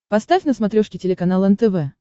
поставь на смотрешке телеканал нтв